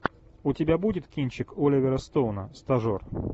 у тебя будет кинчик оливера стоуна стажер